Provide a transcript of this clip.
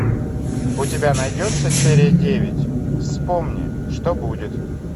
у тебя найдется серия девять вспомни что будет